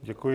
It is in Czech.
Děkuji.